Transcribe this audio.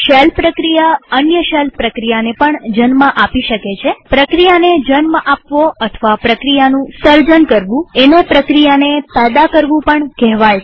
shell પ્રક્રિયા અન્ય shell પ્રક્રિયાને પણ જન્મ આપી શકે છેપ્રક્રિયાને જન્મ આપવો અથવા પ્રક્રિયાનું સર્જન કરવું એને પ્રક્રિયાને પેદા કરવું પણ કહેવાય છે